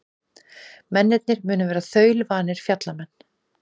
Mennirnir munu vera þaulvanir fjallamenn